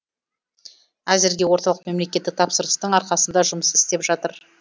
әзірге орталық мемлекеттік тапсырыстың арқасында жұмыс істеп жатыр